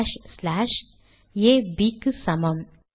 slash slash A Bக்கு சமம்